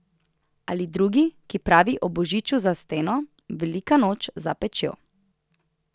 Ali drugi, ki pravi O božiču za steno, velika noč za pečjo.